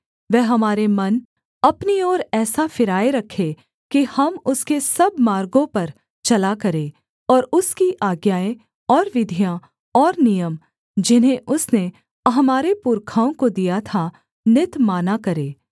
वह हमारे मन अपनी ओर ऐसा फिराए रखे कि हम उसके सब मार्गों पर चला करें और उसकी आज्ञाएँ और विधियाँ और नियम जिन्हें उसने हमारे पुरखाओं को दिया था नित माना करें